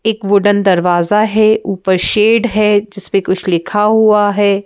एक वुडन दरवाजा है ऊपर शेड है जिस पे कुछ लिखा हुआ है।